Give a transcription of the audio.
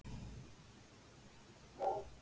Tveimur mánuðum síðar var það stofnað á ný.